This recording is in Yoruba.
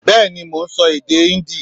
Bẹ́ẹ̀ni mo n so èdè Híndì